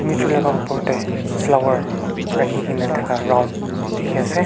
etu la opor de flower rakhi gina thaka round dikhi ase.